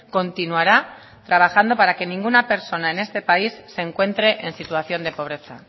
continuará trabajando para que ninguna persona en este país se encuentre en situación de pobreza